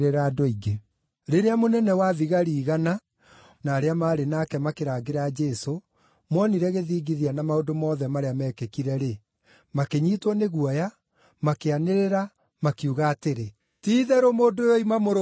Rĩrĩa mũnene-wa-thigari-igana na arĩa maarĩ nake makĩrangĩra Jesũ moonire gĩthingithia na maũndũ mothe marĩa meekĩkire-rĩ, makĩnyiitwo nĩ guoya, makĩanĩrĩra, makiuga atĩrĩ, “Ti-itherũ mũndũ ũyũ oima Mũrũ wa Ngai!”